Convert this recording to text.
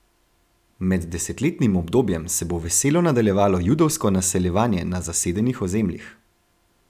Med desetletnim obdobjem se bo veselo nadaljevalo judovsko naseljevanje na zasedenih ozemljih.